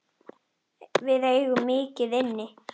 Við eigum mikið inni.